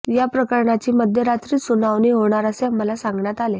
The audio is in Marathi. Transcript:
या प्रकरणाची मध्यरात्रीच सुनावणी होणार असे आम्हाला सांगण्यात आले